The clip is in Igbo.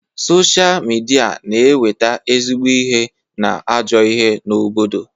Sochaa midia na eweta ezigbo ihe na ajọ ihe n'obodo.